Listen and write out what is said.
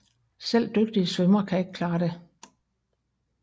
Selv dygtige svømmere kan ikke klare det